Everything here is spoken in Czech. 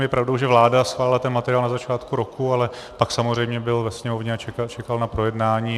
Je pravda, že vláda schválila ten materiál na začátku roku, ale pak samozřejmě byl ve Sněmovně a čekal na projednání.